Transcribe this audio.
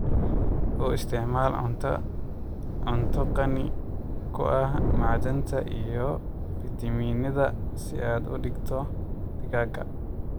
U isticmaal cunto qani ku ah macdanta iyo fiitamiinnada si aad u dhigto digaagga.